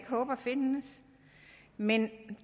håber findes men